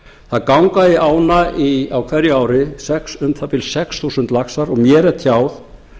það ganga í ána á hverju ári um það bil sex þúsund laxar og mér er tjáð